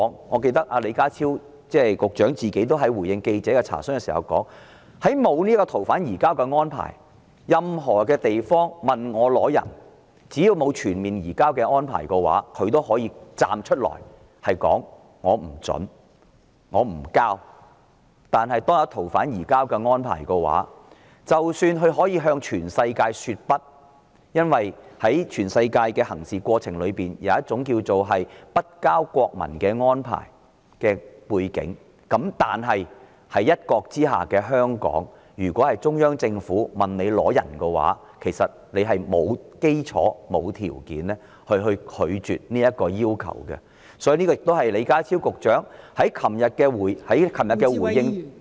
我記得李家超局長在回應記者的查詢時亦說過，如果沒有移交逃犯的安排，任何地方向他要人的時候，只要沒有全面移交的安排，他都可以站出來說不准許、不移交，但如果有移交逃犯安排，即使他可以向全世界說"不"——因為在全世界的行事過程中有一種叫"不交國民"的安排——但在"一國"之下的香港，如果中央政府要人，其實是沒有基礎和條件拒絕其要求的，所以，這也是李家超局長在昨天回應......